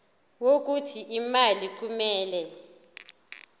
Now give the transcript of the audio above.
wokuthi imali kumele